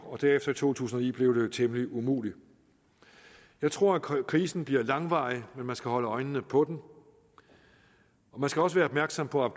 og derefter i to tusind og ni blev det jo temmelig umuligt jeg tror at krisen bliver langvarig men man skal holde øjnene på den man skal også være opmærksom på at